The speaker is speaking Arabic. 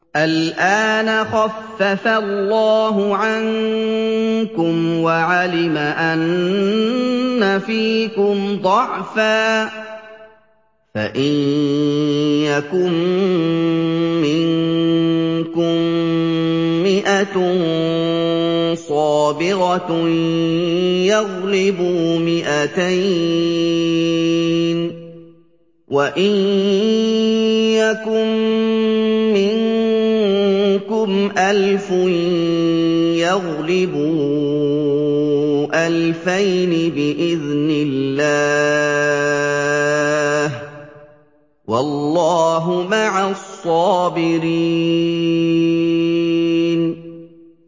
الْآنَ خَفَّفَ اللَّهُ عَنكُمْ وَعَلِمَ أَنَّ فِيكُمْ ضَعْفًا ۚ فَإِن يَكُن مِّنكُم مِّائَةٌ صَابِرَةٌ يَغْلِبُوا مِائَتَيْنِ ۚ وَإِن يَكُن مِّنكُمْ أَلْفٌ يَغْلِبُوا أَلْفَيْنِ بِإِذْنِ اللَّهِ ۗ وَاللَّهُ مَعَ الصَّابِرِينَ